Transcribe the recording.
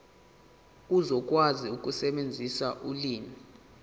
uzokwazi ukusebenzisa ulimi